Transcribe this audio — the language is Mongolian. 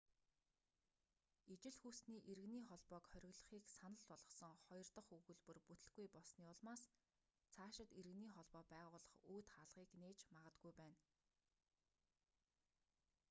ижил хүйстэний иргэний холбоог хориглохыг санал болгосон хоёр дахь өгүүлбэр бүтэлгүй болсоны улмаас цаашид иргэний холбоо байгуулах үүд хаалгыг нээж магадгүй байна